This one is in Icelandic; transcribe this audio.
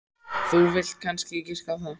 Þú vilt kannski giska á það.